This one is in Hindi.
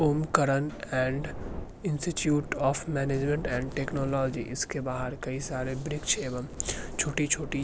Om Karan and institute of management and technology इसके बाहर कई सारे वृक्ष एवम छोटी-छोटी --